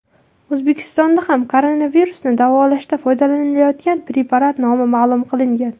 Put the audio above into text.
O‘zbekistonda ham koronavirusni davolashda foydalanilayotgan preparat nomi ma’lum qilingan .